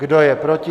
Kdo je proti?